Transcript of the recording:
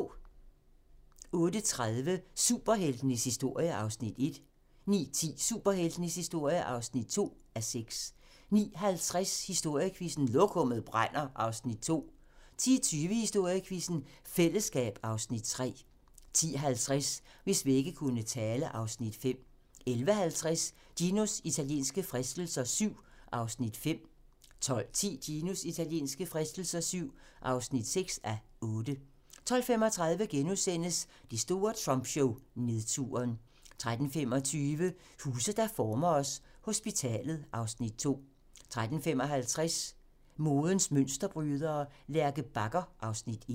08:30: Superheltenes historie (1:6) 09:10: Superheltenes historie (2:6) 09:50: Historiequizzen: Lokummet brænder (Afs. 2) 10:20: Historiequizzen: Fællesskab (Afs. 3) 10:50: Hvis vægge kunne tale (Afs. 5) 11:50: Ginos italienske fristelser VII (5:8) 12:10: Ginos italienske fristelser VII (6:8) 12:35: Det store Trump-show: Nedturen * 13:25: Huse, der former os: Hospitalet (Afs. 2) 13:55: Modens mønsterbrydere: Lærke Bagger (Afs. 1)